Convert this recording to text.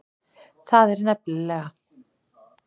Það er nefnilega.